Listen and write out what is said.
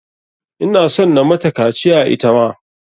Ina son na mata kaciya ita ma.